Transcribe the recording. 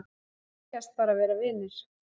Segjast bara vera vinir